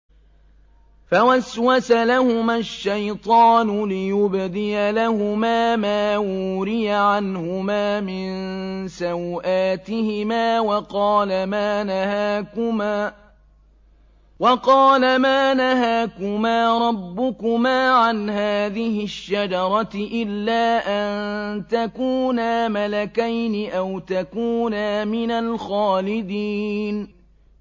فَوَسْوَسَ لَهُمَا الشَّيْطَانُ لِيُبْدِيَ لَهُمَا مَا وُورِيَ عَنْهُمَا مِن سَوْآتِهِمَا وَقَالَ مَا نَهَاكُمَا رَبُّكُمَا عَنْ هَٰذِهِ الشَّجَرَةِ إِلَّا أَن تَكُونَا مَلَكَيْنِ أَوْ تَكُونَا مِنَ الْخَالِدِينَ